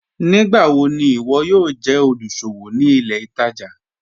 Nígbàwọ̀ ni iwọ yóò jẹ olúṣọ̀wọ̀ ní ilẹ̀ ìtaja?